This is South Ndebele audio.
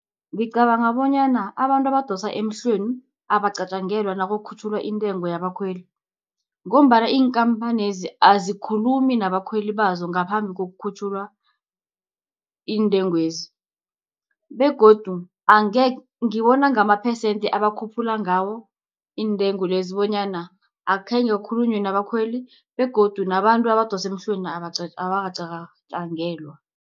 Ngicabanga bonyana abantu abadosa emhlweni, abacatjangelwa nakukhutjhulwa intengo yabakhweli, ngombana iinkampanezi azikhulumi nabakhweli bazo ngaphambi kokukhutjhulwa intengwezi, begodu ngibona ngamaphesende abakhuphula ngawo intengo lezi bonyana akhenge kukhulunywe nabakhweli, begodu nabantu abadose emhlweni abakacatjangelwa.